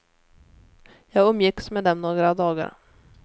Jag umgicks med dem några dagar.